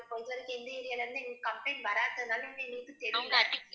இப்போ வரைக்கும் எந்த area ல இருந்து எங்களுக்கு complaint வராததுனால ma'am எங்களுக்கு தெரியல.